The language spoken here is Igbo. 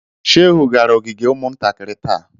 Shehu gara ogige umuntakiri taa.